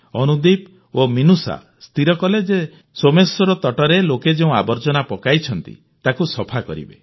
ଅନୁଦୀପ ଓ ମିନୁଷା ସ୍ଥିର କଲେ ଯେ ସୋମେଶ୍ୱର ତଟରେ ଲୋକେ ଯେଉଁ ଆବର୍ଜନା ପକାଇଛନ୍ତି ତାକୁ ସଫା କରିବେ